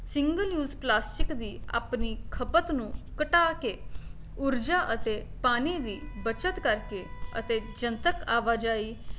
single use plastic ਵੀ ਆਪਣੀ ਖਪਤ ਨੂੰ ਘਟਾ ਕੇ ਊਰਜਾ ਤੇ ਪਾਣੀ ਵੀ ਬੱਚਤ ਕਰਕੇ ਅਤੇ ਜਨਤਕ ਆਵਾਜਾਈ